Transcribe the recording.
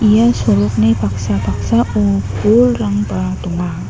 ia sorokni paksa paksao bolrangba donga.